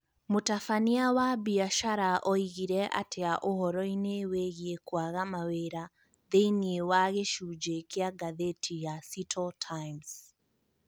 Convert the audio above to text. Mũtabania wa biacara oigire atĩa ũhoro-inĩ wĩgiĩ kwaga mawĩra thĩinĩ wa gĩcunjĩ kĩa ngathĩti ya Seattle Times